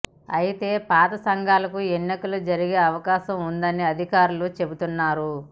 అయితే పాత సంఘాలకు ఎన్నికలు జరిగే అవకాశం ఉన్నదని అధికారులు చెబుతున్నారు